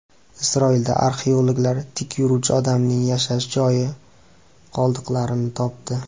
Isroilda arxeologlar tik yuruvchi odamning yashash joyi qoldiqlarini topdi.